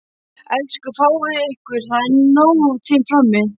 Elsku fáið ykkur, það er nóg til frammi.